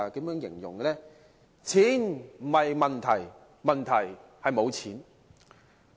便是"錢不是問題，問題是沒有錢"。